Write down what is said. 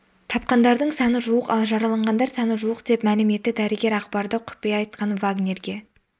тапқандардың саны жуық ал жараланғандар саны жуық деп мәлім етті дәрігер ақпарды құпия айтқан вагнерге